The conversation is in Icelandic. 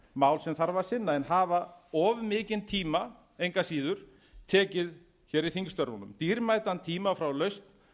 mál sem þarf að sinna en hafa of mikinn tíma engu að síður tekið hér í þingstörfunum dýrmætan tíma frá lausn